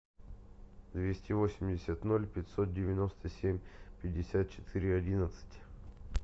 двести восемьдесят ноль пятьсот девяносто семь пятьдесят четыре одиннадцать